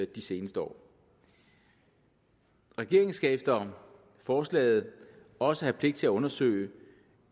de seneste år regeringen skal efter forslaget også have pligt til undersøge